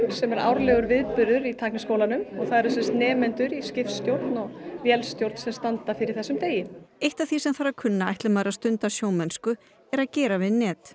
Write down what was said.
sem er árlegur viðburður í Tækniskólanum og það eru nemendur í skipstjórn og vélstjórn sem standa fyrir þessum degi eitt af því sem þarf að kunna ætli maður að stunda sjómennsku er að gera við net